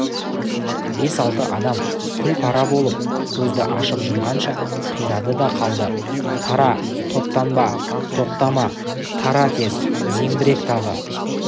бес-алты адам күл-пара болып көзді ашып-жұмғанша қирады да қалды тара топтанба тоқтама тара тез зеңбірек тағы